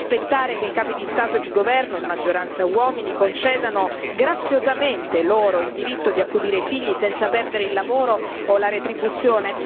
Di aspettare che i capi di Stato e di governo, in maggioranza uomini, concedano graziosamente loro il diritto di accudire i figli, senza perdere il lavoro o la retribuzione?